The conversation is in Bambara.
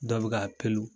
Dɔ bɛ ka pelu